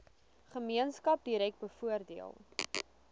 gemeenskap direk bevoordeel